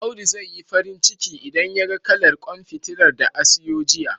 Audu zai yi farin ciki, idan yaga kalar ƙwan fitilar da a siyo jiya..